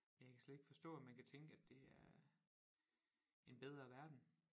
Jeg kan slet ikke forstå at man kan tænke at det er en bedre verden